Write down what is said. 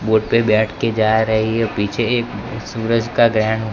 बोटे बैठ के जा रही है पीछे एक सूरज का ग्रहण--